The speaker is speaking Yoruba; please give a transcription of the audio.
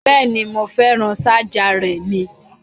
Bẹ́ẹ̀ni, mo fẹ́ràn ṣájà rẹ ni